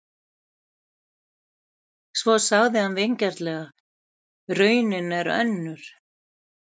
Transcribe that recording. Svo sagði hann vingjarnlega: Raunin er önnur.